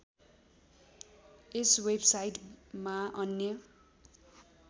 यस वेबसाइटमा अन्य